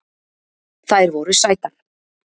Þær voru sætar